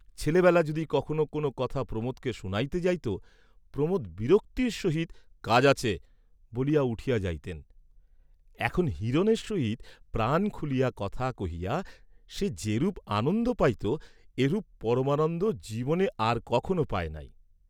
ছেলেবেলা যদি কখনো কোন কথা প্রমোদকে শুনাইতে যাইত, প্রমোদ বিরক্তির সহিত কাজ আছে বলিয়া উঠিয়া যাইতেন; এখন হিরণের সহিত প্রাণ খুলিয়া কথা কহিয়া সে যেরূপ আনন্দ পাইত, এরূপ পরমানন্দ জীবনে আর কখনো পায় নাই।